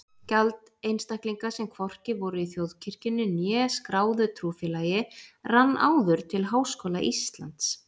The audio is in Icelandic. Gjald einstaklinga, sem hvorki voru í þjóðkirkjunni né skráðu trúfélagi rann áður til Háskóla Íslands.